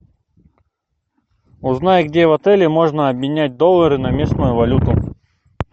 узнай где в отеле можно обменять доллары на местную валюту